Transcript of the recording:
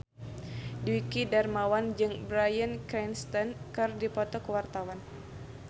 Dwiki Darmawan jeung Bryan Cranston keur dipoto ku wartawan